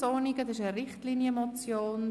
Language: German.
Das ist eine Richtlinienmotion.